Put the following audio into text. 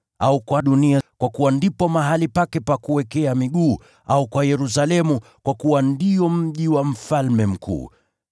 au kwa dunia, kwa kuwa ndipo mahali pake pa kuwekea miguu; au kwa Yerusalemu, kwa kuwa ndio mji wa Mfalme Mkuu.